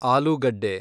ಆಲೂಗಡ್ಡೆ